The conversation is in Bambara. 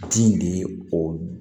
Di de ye o